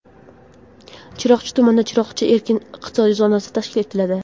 Chiroqchi tumanida "Chiroqchi" erkin iqtisodiy zonasi tashkil etiladi.